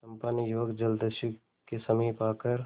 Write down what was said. चंपा ने युवक जलदस्यु के समीप आकर